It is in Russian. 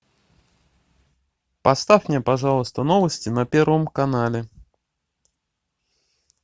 поставь мне пожалуйста новости на первом канале